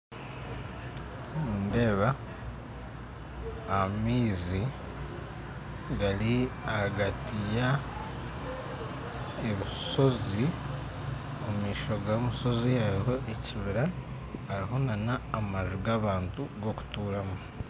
Nindeeba amaizi gari hagati ya ebishozi omu maisho ga mushozi hariho ekibira hariho na namaju g'abantu gokuturamu